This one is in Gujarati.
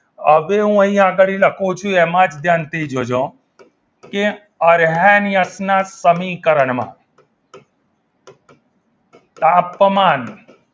હવે હું અહીંયા આગળ લખું છું એમાં ધ્યાનથી જોજો કે અરહેનિયમના સમીકરણમા તાપમાન